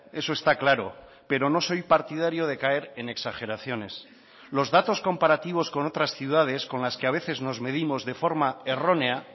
eso está claro pero no soy partidario de caer en exageraciones los datos comparativos con otras ciudades con las que a veces nos medimos de forma errónea